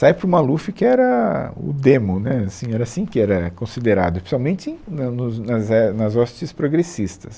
Sai para o Maluf que era o demo, né, assim, era assim que era considerado, principalmente né nos nas é nas hostes progressistas.